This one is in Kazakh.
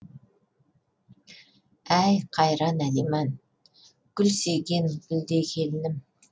әй қайран алиман гүл сүйген гүлдей келінім